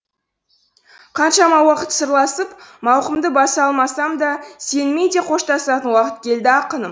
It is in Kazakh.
қаншама уақыт сырласып мауқымды баса алмасам да сенімен де қоштасатын уақыт келді ақыным